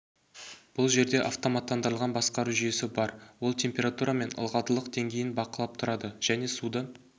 бұл жерде автоматтандырылған басқару жүйесі бар ол температура мен ылғалдылық деңгейін бақылап тұрады және суды